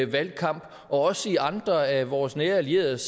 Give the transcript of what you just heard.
valgkamp og også i andre af vores nære allieredes